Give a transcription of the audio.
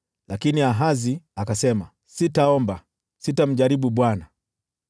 Lakini Ahazi akasema, “Sitaomba; sitamjaribu Bwana .”